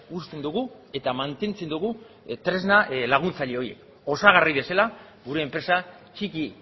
uzten dugu eta mantentzen dugu tresna laguntzaile horiek osagarri bezala gure enpresa txiki